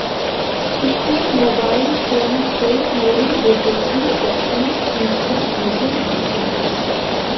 उसने mobile phone से मेरे बेटे की तस्वीर खींचकर मुझे भेजी